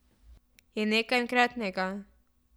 Je nekaj enkratnega.